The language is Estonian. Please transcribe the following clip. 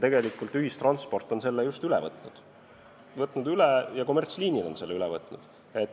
Tegelikult ühistransport ja kommertsliinid on selle üle võtnud.